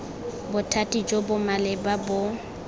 bothati jo bo maleba bo